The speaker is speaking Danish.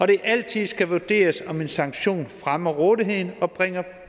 det altid skal vurderes om en sanktion fremmer rådigheden og bringer